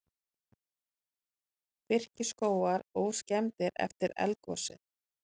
Birkiskógar óskemmdir eftir eldgosið